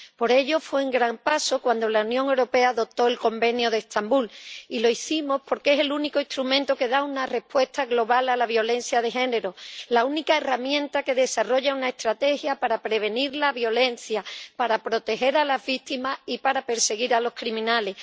Por ello, fue un gran paso cuando la Unión Europea adoptó el Convenio de Estambul, y lo hicimos porque es el único instrumento que da una respuesta global a la violencia de género, la única herramienta que desarrolla una estrategia para prevenir la violencia, para proteger a las víctimas y para perseguir a los criminales.